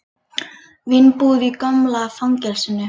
Vínbúð í gamla fangelsinu